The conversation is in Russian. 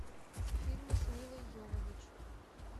фильмы с милой йовович